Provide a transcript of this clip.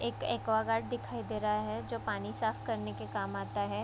एक एक्वागार्ड दिखाई दे रहा है जो पानी साफ करने के काम आता है।